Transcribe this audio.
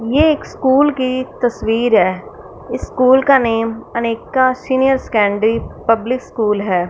ये एक स्कूल की तस्वीर है स्कूल का name Aneka senior secondary public school है।